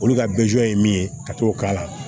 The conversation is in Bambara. Olu ka ye min ye ka t'o k'a la